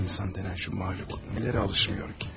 İnsan denən şu mahluk nələrə alışmıyor ki?